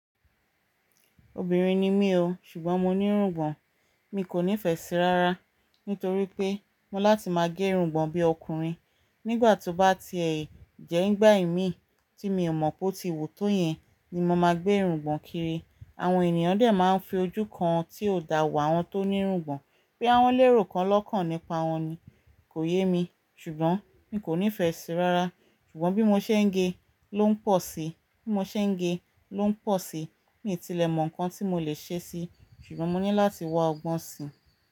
Obìnrin ni mí o, ṣùgbọ́n mo ní irungbọ̀n. Mi kò nífẹsí rárá nítorí pé mo láti máa gé irungbọ̀n bí ọkùnrin. Nígbà tí ó bá ti ẹ jẹ́ nígbà ìmiì tí mi ò mọ̀ pó ti wù tó yẹn ni mo máa gbé irungbọ̀n kiri. Àwọn ènìyàn dẹ̀ máa fi ojú kan tí ó dà wò àwọn tó ní irungbọ̀n bóyá wọ́ń lérò kan lọ́kàn nípa wọn ni. Kò yé mi, ṣùgbọ́n mi kò nífẹsí rárá. Ṣùgbọ́n bí mo ṣe ń ge ló ń pọ̀ si, bí mo ṣe ń ge ló ń pọ̀ si. Miì tìlẹ mọ̀ nǹkan tí mo lè ṣe síi ṣùgbọ́n mo ní láti wá ọgbọ́n si.